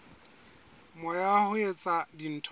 moya wa ho etsa dintho